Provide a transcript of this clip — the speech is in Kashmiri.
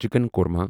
چِکن قورما